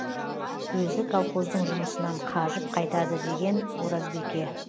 өзі колхоздың жұмысынан қажып қайтады деген оразбике